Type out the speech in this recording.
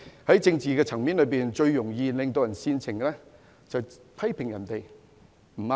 在政治層面，最煽情的就是批評別人不對。